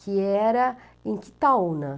que era em Quitaúna.